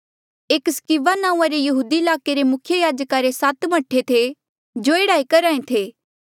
एक स्क्किवा नांऊँआं रे यहूदिया ईलाके रे मुख्य याजका रे सात मह्ठे थे जो एह्ड़ा ई करहा ऐें थे